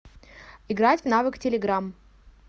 играть в навык телеграмм